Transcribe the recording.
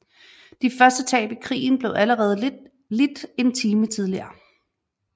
De første tab i krigen blev allerede lidt en time tidligere